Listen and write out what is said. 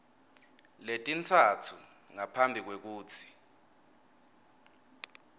letintsatfu ngaphambi kwekutsi